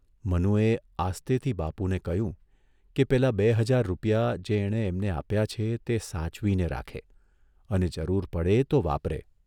મનુએ આસ્તેથી બાપુને કહ્યું કે પેલા બે હજાર રૂપિયા જે એણે એમને આપ્યા છે તે સાચવીને રાખે અને જરૂર પડે તો વાપરે.